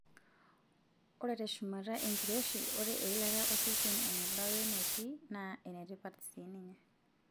Ore tushamata enkiroshi, ore eilata osesen eneba wenetii naa enetipat sii ninye.